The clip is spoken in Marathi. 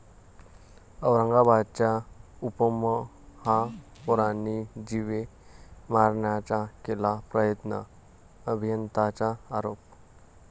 औरंगाबादच्या उपमहापौरांनी जीवे मारण्याचा केला प्रयत्न, अभियंताचा आरोप